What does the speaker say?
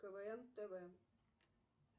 квн тв